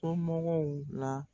la.